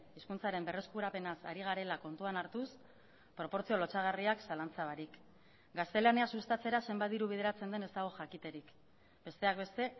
hizkuntzaren berreskurapenaz ari garela kontuan hartuz proportzio lotsagarriak zalantza barik gaztelania sustatzera zenbat diru bideratzen den ez dago jakiterik besteak beste